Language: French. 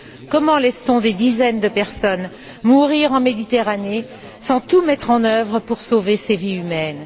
Comment peut on laisser des dizaines de personnes mourir en Méditerranée sans tout mettre en œuvre pour sauver ces vies humaines?